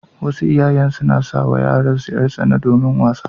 Wasu iyayen suna sai wa yaransu yar-tsana domin wasa.